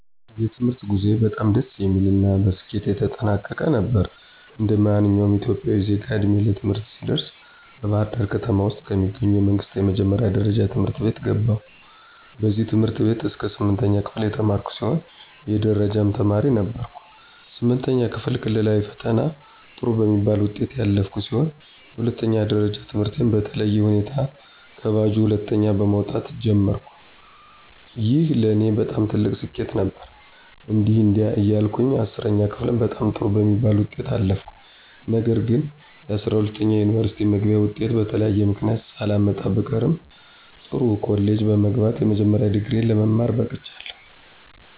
የትምህርት ጉዞዬ በጣም ደስ የሚል እና በስኬት የተጠናቀቀ ነው። እንደማንኛውም ኢትዮጵያዊ ዜጋ ዕድሜዬ ለትምህርት ሲደርስ በባህርዳር ከተማ ውስጥ ከሚገኙ የመንግስት የመጀመሪያ ደረጃ ትምህርት ቤት ገባሁኝ። በዚህ ትምህርት ቤት እስከ ስምንተኛ ክፍል የተማርኩ ሲሆን የደረጃ ተማሪም ነበርኩኝ። ስምንተኛ ክፍል ክልላዊ ፈተናም ጥሩ በሚባል ውጤት ያለፍኩ ሲሆን የሁለተኛ ደረጃ ትምህርቴን በተለየ ሁኔታ ከባጁ ሁለተኛ በመወጣት ጀመርኩኝ። ይህ ለኔ በጣም ትልቅ ስኬት ነበር። እንዲህ እንዲያ እያልኩ 10ኛ ክፍልም በጣም ጥሩ በሚባል ውጤት አለፍኩኝ። ነገር ግንጰ12ኛ የዩኒቨርስቲ መግቢያ ወጤት በተለያየ ምክንያት ሳላመጣ ብቀርም ጥሩ ኮሌጅ በመግባት የመጀመሪያ ዲግሪየ ለመማረክ በቅቻለሁ።